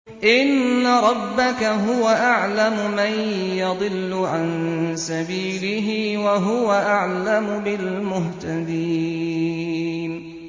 إِنَّ رَبَّكَ هُوَ أَعْلَمُ مَن يَضِلُّ عَن سَبِيلِهِ ۖ وَهُوَ أَعْلَمُ بِالْمُهْتَدِينَ